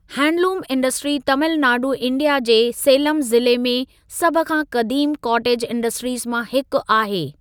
Handloom industry Tamil Nadu India जे सेलमु ज़िले में सभ खां क़दीम कॉटेज इंडस्ट्रीज़ मां हिकु आहे।